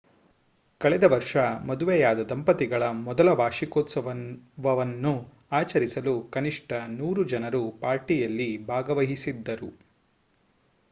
ಕಳೆದ ವರ್ಷ ಮದುವೆಯಾದ ದಂಪತಿಗಳ ಮೊದಲ ವಾರ್ಷಿಕೋತ್ಸವವನ್ನು ಆಚರಿಸಲು ಕನಿಷ್ಠ 100 ಜನರು ಪಾರ್ಟಿಯಲ್ಲಿ ಭಾಗವಹಿಸಿದ್ದರು